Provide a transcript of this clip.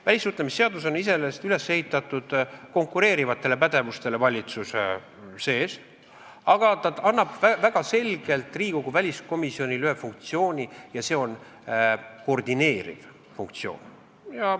Välissuhtlemisseadus on üles ehitatud konkureerivatele pädevustele valitsuse sees, aga ta annab Riigikogu väliskomisjonile väga selgelt ühe funktsiooni ja see on koordineeriv funktsioon.